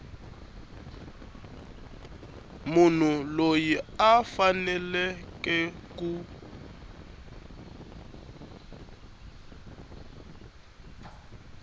munhu loyi a faneleke ku